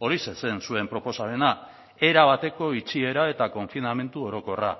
horixe zen zuen proposamena erabateko itxiera eta konfinamendu orokorra